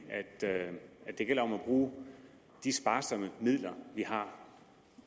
i at det gælder om at bruge de sparsomme midler vi har